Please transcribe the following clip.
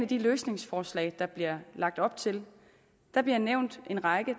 de løsningsforslag der bliver lagt op til der bliver nævnt en række